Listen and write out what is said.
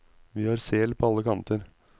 Vi har sel på alle kanter.